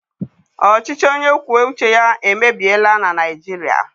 Ọchịchị onye kwue uche ya emebiela na Naịjirịa.